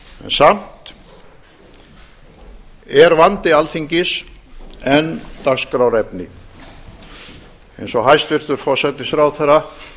samt er vandi alþingis enn dagskrárefni eins og hæstvirtur forsætisráðherra